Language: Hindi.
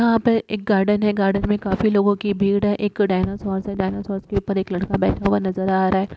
यहाँ पर एक गार्डन है। गार्डन में काफी लोगो की भीड़ है एक डायनासोर्स है डायनासोर्स के ऊपर एक लड़का बैठा हुआ नज़र आ रहा है।